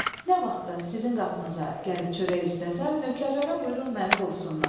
Nə vaxtda sizin qapınıza gəlib çörək istəsəm, nökərlərə buyurun məni qovsunlar.